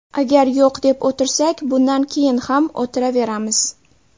Agar yo‘q deb o‘tirsak, bundan keyin ham o‘tiraveramiz.